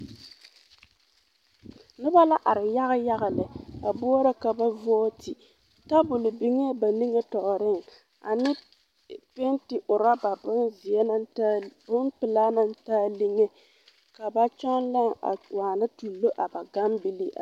Noba la are yaga yaga lɛ a boɔrɔ ka ba vooti tabol biŋɛɛ ba niŋe tɔɔreŋ ane pɛnti ɔrɔba bompelaa naŋ taa liŋe ka ba kyɔŋ lãɛ a waana tuuro a ba gambilii.